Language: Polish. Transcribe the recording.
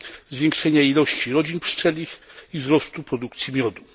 zwiększenia ilości rodzin pszczelich i wzrostu produkcji miodu.